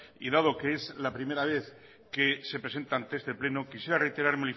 y dado que es la primera vez que se presenta ante este pleno quisiera reiterar